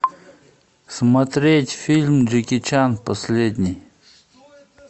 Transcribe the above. смотреть фильм джеки чан последний